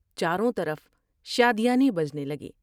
چاروں طرف شادیانے بجنے لگے ۔